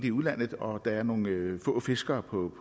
i udlandet og der er nogle få fiskere på